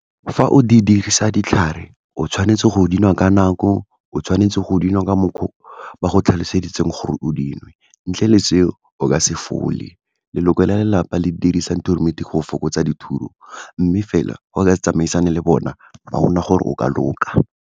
Fa o di dirisa ditlhare, o tshwanetse go dinwa ka nako, o tshwanetse go dinwa ka mokgwa o ba go tlhaloseditseng gore o dinwe, ntle le seo o ka se fole. Leloko la lelapa, le dirisa go fokotsa mme fela go ka tsamaisane le bona, ga gona gore o ka loka.